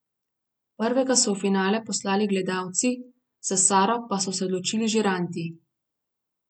Prvega so v finale poslali gledalci, za Saro pa so se odločili žiranti.